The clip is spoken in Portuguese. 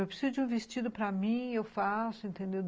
Eu preciso de um vestido para mim, eu faço, entendeu?